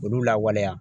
Olu lawaleya